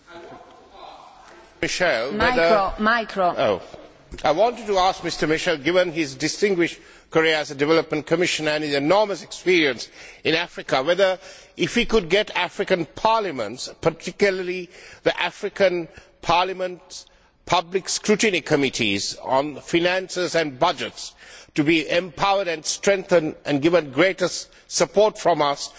Madam President, I wanted to ask Mr Michel, given his distinguished career as a development Commissioner and his enormous experience in Africa, whether he could get African parliaments particularly the African parliaments' public scrutiny committees on finances and budgets to be empowered and strengthened and given greater support from us so that they could actually question